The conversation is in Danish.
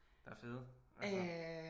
Der er fede altså